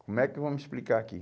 Como é que eu vou me explicar aqui?